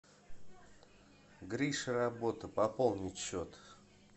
гриша работа пополнить счет